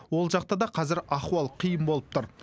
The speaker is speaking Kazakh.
ол жақта да қазір ахуал қиын болып тұр